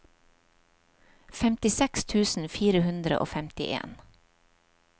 femtiseks tusen fire hundre og femtien